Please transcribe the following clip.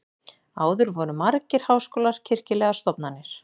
áður voru margir háskólar kirkjulegar stofnanir